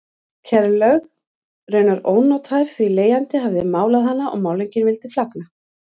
Kerlaug raunar ónothæf því leigjandi hafði málað hana og málningin vill flagna.